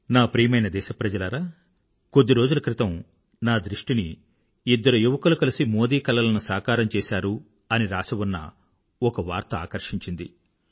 నా ప్రియమైన దేశప్రజలారా కొద్ది రోజుల క్రితం నా దృష్టిని ఇద్దరు యువకులు కలిసి మోదీ కలలను సాకారం చేసారు అని రాసి ఉన్న ఒక వార్త ఆకర్షించింది